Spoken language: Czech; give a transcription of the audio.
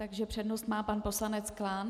Takže přednost má pan poslanec Klán.